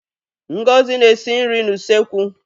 Ngozi na-esi nri n'usekwu.